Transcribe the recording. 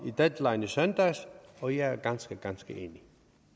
i deadline i søndags og jeg er ganske ganske enig